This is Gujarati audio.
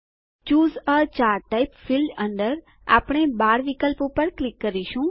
ચૂસે એ ચાર્ટ ટાઇપ ફિલ્ડ અંદર આપણે બાર વિકલ્પ પર ક્લિક કરીશું